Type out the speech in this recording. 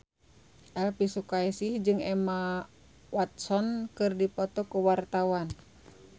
Elvi Sukaesih jeung Emma Watson keur dipoto ku wartawan